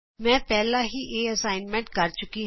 ਮੈਂ ਇਹ ਅਸਾਈਨਮੈਂਟ ਪਹਿਲਾਂ ਹੀ ਕਰ ਚੁੱਕੀ ਹਾਂ